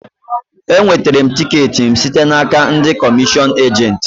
E wetere m tiket m site n'aka ndị komishion ejent